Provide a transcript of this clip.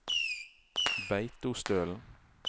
Beitostølen